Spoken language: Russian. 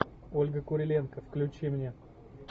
ольга куриленко включи мне